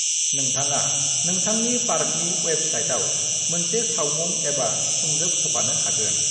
नोंथाङा नोंथांनि पार्कनि अयेबबसाइटआव मोनसे सावमुं एबा सुंजोब होफानो हागोन।